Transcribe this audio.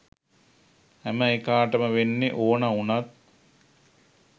හැම එකාටම වෙන්න ඕන උනත්